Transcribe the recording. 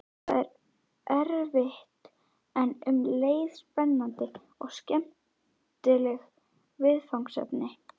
Það er erfitt en um leið spennandi og skemmtilegt viðfangsefni.